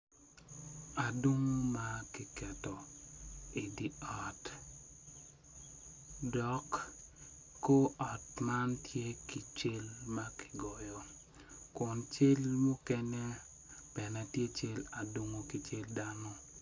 Adungo ma idi ot dok kor ot man tye ki cal ma kigoyo kuncal mukene tye ki cal adungo ki cal dano.